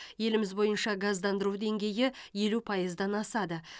еліміз бойынша газдандыру деңгейі елу пайыздан асады